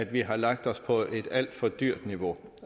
vi har lagt os på et alt for dyrt niveau